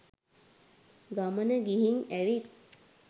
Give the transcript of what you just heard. ගමන ගිහින් ඇවිත්